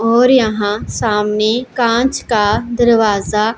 और यहाँ सामने कांच का दरवाज़ा--